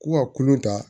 Ko ka kulon ta